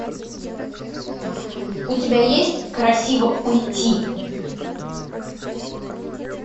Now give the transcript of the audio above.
у тебя есть красиво уйти